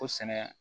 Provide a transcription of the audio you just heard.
O sɛnɛ